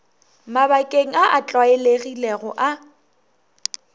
mabakeng a a tlwaelegilego a